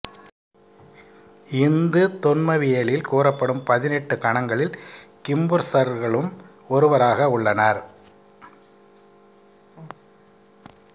இந்து தொன்மவியலில் கூறப்படும் பதினெட்டு கணங்களில் கிம்புர்சர்களும் ஒருவராக உள்ளனர்